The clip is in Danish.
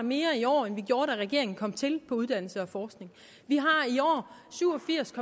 mere i år end vi gjorde da regeringen kom til på uddannelse og forskning vi har i år syv og firs